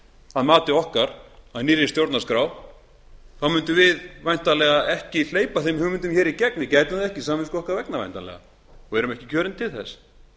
að mati okkar að nýrri stjórnarskrá munum við væntanlega ekki hleypa þeim hugmyndum hér í gegn við gætum það ekki samvisku okkar vegna væntanlega erum ekki kjörin til þess